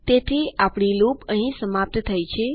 તેથીઆપણી loop અહીં સમાપ્ત થઇ ગઈ છે